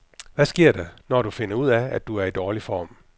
Hvad sker der, når du finder ud af, at du er i dårlig form?